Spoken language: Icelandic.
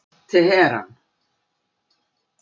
Teheran